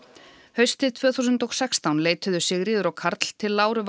haustið tvö þúsund og sextán leituðu Sigríður og Karl til Láru